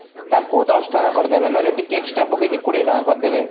ତାକୁ ଦଶ ଟଙ୍କା କରିଦେବେ ନହେଲେ ଟିକେ extra ପକେଇକି କୋଡିଏ ଟଙ୍କା କରିଦେବେ